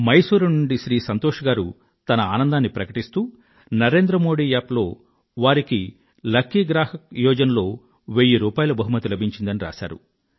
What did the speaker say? మైసూర్ నుండి శ్రీ సంతోష్ గారు తన ఆనందాన్ని ప్రకటిస్తూ NarendraModiApp లో వారికి లకీ గ్రాహక్ యోజన లో వెయ్యి రూపాయిల బహుమతి లభించిందని రాశారు